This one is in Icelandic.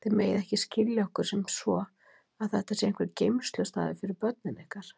Þið megið ekki skilja okkur sem svo að þetta sé einhver geymslustaður fyrir börnin ykkar.